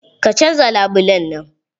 Ka canza labulen nan!